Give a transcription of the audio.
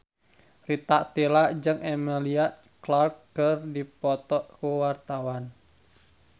Rita Tila jeung Emilia Clarke keur dipoto ku wartawan